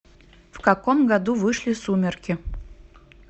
в каком году вышли сумерки